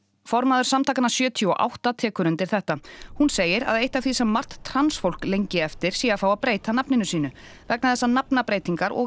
formaður samtakanna sjötíu og átta tekur undir þetta hún segir að eitt af því sem margt transfólk lengi eftir sé að fá að breyta nafni sínu vegna þess að nafnabreytingar og